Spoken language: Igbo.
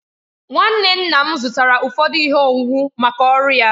Nwanne nna m zụtara ụfọdụ ihe owuwu maka ọrụ ya.